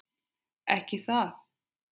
Ekki það.?